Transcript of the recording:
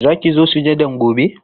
Za ki zo sujadan gobe?